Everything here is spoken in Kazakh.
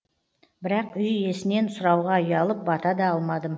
бірақ үй иесінен сұрауға ұялып бата да алмадым